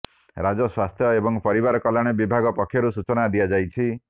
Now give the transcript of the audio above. ରାଜ୍ୟ ସ୍ୱାସ୍ଥ୍ୟ ଏବଂ ପରିବାର କଲ୍ୟାଣ ବିଭାଗ ପକ୍ଷରୁ ସୂଚନା ଦିଆଯାଇଛି